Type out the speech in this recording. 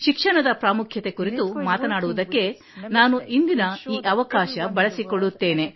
ಶಿಕ್ಷಣದ ಪ್ರಾಮುಖ್ಯತೆ ಕುರಿತು ಮಾತನಾಡುವುದಕ್ಕೆ ನಾನು ಇಂದಿನ ಈ ಅವಕಾಶ ಬಳಸಿಕೊಳ್ಳುತ್ತೇನೆ